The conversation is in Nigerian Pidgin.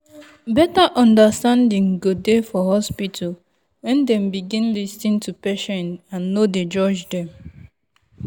better understanding go dey for hospital when dem begin lis ten to patient and nor dey judge them.